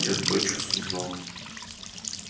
я тотчас узнал